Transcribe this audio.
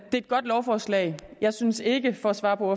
er et godt lovforslag jeg synes ikke for at svare på